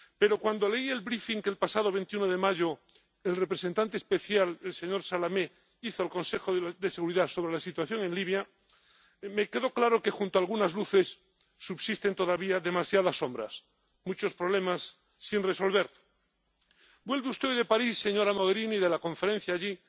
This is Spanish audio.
Pero cuando leí el briefing que el pasado 21 de mayo el representante especial, el señor Salamé, hizo al Consejo de Seguridad sobre la situación en Libia, me quedó claro que junto a algunas luces subsisten todavía demasiadas sombras, muchos problemas sin resolver. Vuelve usted de París, señora Mogherini, de la Conferencia allí